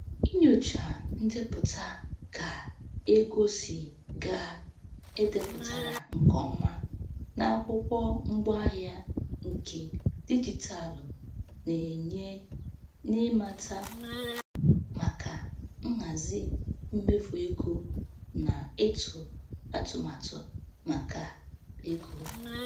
Inyocha ndepụta ka ego si gaa e depụtara nke ọma na akwụkwọ ngwaahịa nke dijitalụ na-enye n'ịmata maka nhazi mmefu ego na ịtụ atụmatụ maka ego.